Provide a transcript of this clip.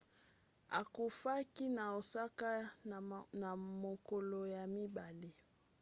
akufaki na osaka na mokolo ya mibale